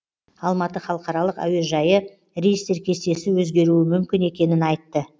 алматы халықаралық әуежайы рейстер кестесі өзгеруі мүмкін екенін айтты